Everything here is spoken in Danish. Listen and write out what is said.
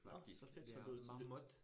Nåh. Så fedt så du så du